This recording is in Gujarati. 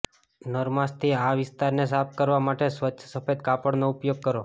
નરમાશથી આ વિસ્તારને સાફ કરવા માટે સ્વચ્છ સફેદ કાપડનો ઉપયોગ કરો